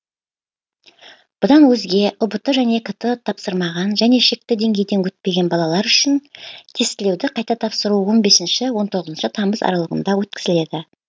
бұдан өзге ұбт және кт тапсырмаған және шекті деңгейден өтпеген балалар үшін тестілеуді қайта тапсыру он бесінші он тоғызыншы тамыз аралығында өткізіледі